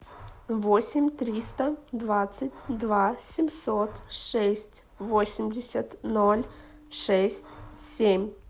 восемь триста двадцать два семьсот шесть восемьдесят ноль шесть семь